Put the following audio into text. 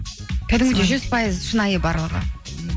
жүз пайыз шынайы барлығы